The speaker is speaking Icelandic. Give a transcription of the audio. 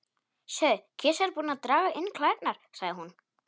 Sjáðu, kisa er búin að draga inn klærnar, sagði hún.